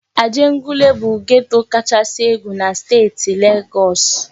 Ajegunle bụ geto kachasị egwu na steeti Legọs.